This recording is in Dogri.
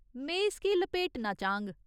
में इसगी लपेटना चाह्ङ।